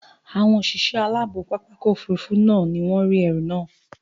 Àwọn òṣìṣẹ́ aláàbò pápákọ̀ òfurufú náà ni wọ́n rí ẹrù máà